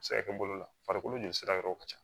A bɛ se ka kɛ bolo la farikolo joli sira yɔrɔw ka ca